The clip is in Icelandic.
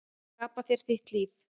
Skapa þér þitt líf.